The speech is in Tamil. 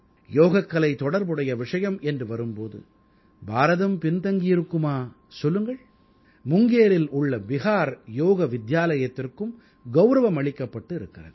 யோகக்கலை தொடர்புடைய விஷயம் என்று வரும் போது பாரதம் பின் தங்கியிருக்குமா சொல்லுங்கள் முங்கேரில் உள்ள பிஹார் யோக வித்யாலயத்திற்கும் கௌரவமளிக்கப்பட்டு இருக்கிறது